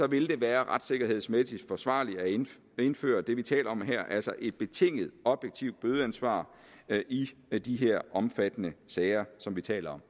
vil være retssikkerhedsmæssigt forsvarligt at indføre indføre det vi taler om her altså et betinget objektivt bødeansvar i i de her omfattende sager som vi taler